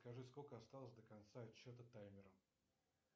скажи сколько осталось до конца отчета таймера